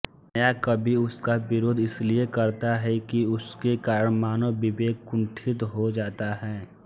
नया कवि उसका विरोध इसलिए करता है कि उसके कारण मानवविवेक कुंठित हो जाता है